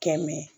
Kɛmɛ